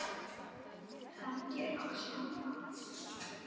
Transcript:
held ég loks áfram.